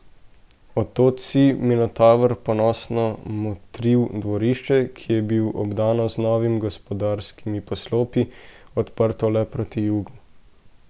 Od tod si, Minotaver, ponosno motril dvorišče, ki je bilo obdano z novimi gospodarskimi poslopji, odprto le proti jugu.